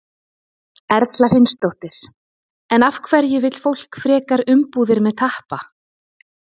Erla Hlynsdóttir: En af hverju vill fólk frekar umbúðir með tappa?